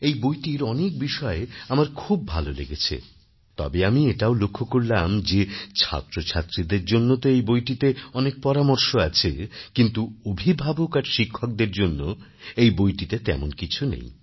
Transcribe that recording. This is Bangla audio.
এই বইটির অনেক বিষয় আমার খুব ভালো লেগেছে তবে আমি এটাও লক্ষ্য করলাম যে ছাত্রছাত্রীদের জন্য তো এই বইটিতে অনেক পরামর্শ আছে কিন্তু অভিভাবক আর শিক্ষকদের জন্য এই বইটিতে তেমন কিছু নেই